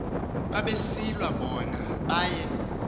babesilwa bona baye